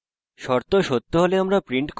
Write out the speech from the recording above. শর্ত সত্য হলে